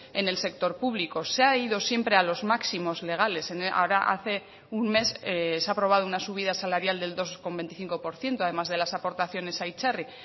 en el sector público se ha ido siempre a los máximos legales ahora hace un mes se ha aprobado una subida salarial del dos coma veinticinco por ciento además de las aportaciones a itzarri